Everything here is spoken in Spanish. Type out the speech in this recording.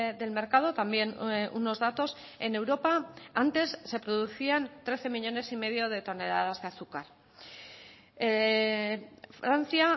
del mercado también unos datos en europa antes se producían trece millónes y medio de toneladas de azúcar francia